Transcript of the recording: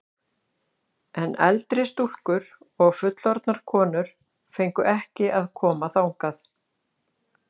En eldri stúlkur og fullorðnar konur fengu ekki að koma þangað.